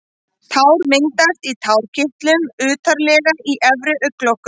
Tár myndast í tárakirtlum utarlega í efri augnlokunum.